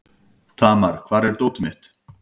Tamar, hvar er dótið mitt?